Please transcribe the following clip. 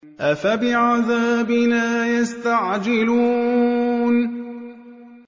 أَفَبِعَذَابِنَا يَسْتَعْجِلُونَ